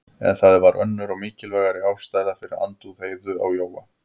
En það var önnur og mikilvægari ástæða fyrir andúð Heiðu á Jóa.